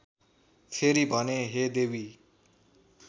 फेरि भने हे देवी